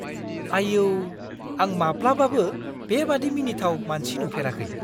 आइऔ! आं माब्लाबाबो बेबादि मिनिथाव मानसि नुफेराखै!